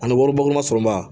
Ani wari bɔ ma sɔrɔba